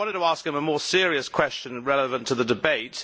But I wanted to ask him a more serious question relevant to the debate.